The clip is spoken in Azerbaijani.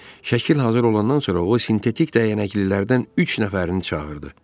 Şəkil hazır olandan sonra o sintetik dəyanəklilərdən üç nəfərini çağırdı.